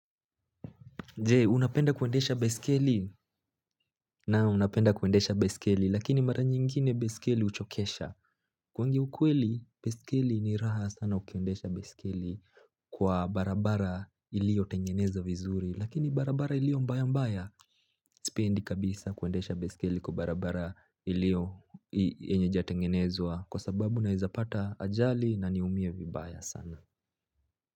Je? Unapenda kuendesha baiskeli? Naam, napenda kuendesha baiskeli lakini mara nyingine baiskeli huchokesha kuongea ukweli baiskeli ni raha sana ukiendesha baiskeli kwa barabara ilio tengenezwa vizuri lakini barabara ilio mbaya mbaya Sipendi kabisa kuendesha baiskeli kwa barabara ilio yenye hijatengenezwa kwa sababu ninaweza pata ajali na niumie vibaya sana.